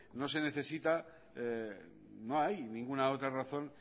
no se necesita no hay ninguna otra razón